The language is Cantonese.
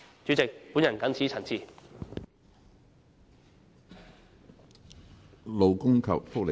主席，我謹此陳辭。